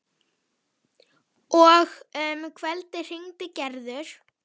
Og um kvöldið hringdi Gerður.